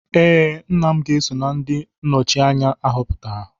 Ee, nna m ga-eso na ndị nnọchi anya ahọpụtara